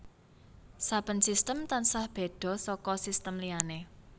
Saben sistem tansah béda saka sistem liyané